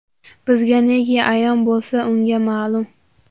bizga neki ayon bo‘lsa — unga ma’lum.